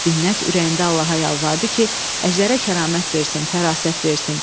Binnət ürəyində Allaha yalvardı ki, əjdərə kəramət versin, fərasət versin.